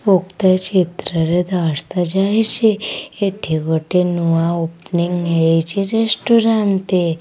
ଉକ୍ତ ଚିତ୍ରରେ ଦର୍ଶା ଯାଇଚି ଏଠି ଗୋଟେ ନୂଆ ଓପନିଂ ହେଇଚି ରେଷ୍ଟୁରାନ୍ ଟେ।